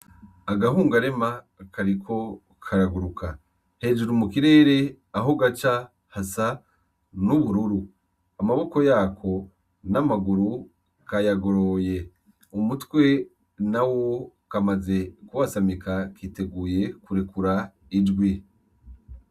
Agahungarema kariko karaguruka . Hejuru mu kirere aho gaca hasa n’ubururu . Amaboko yako n’amaguru bwayagoroye. Umutwe nawo bwamaze kuyasamika kiteguye kurekura ijwi .